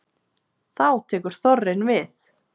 þá tekur þorrinn við